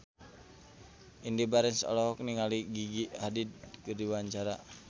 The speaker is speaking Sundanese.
Indy Barens olohok ningali Gigi Hadid keur diwawancara